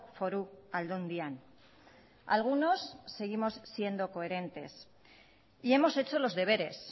foru aldundian algunos seguimos siendo coherentes y hemos hecho los deberes